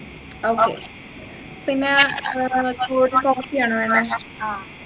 okay പിന്നെ air ആണോ വേണ്ടത്